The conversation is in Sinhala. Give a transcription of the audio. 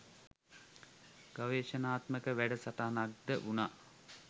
ගවේෂණාත්මක වැඩ සටහනක් ද වුණා.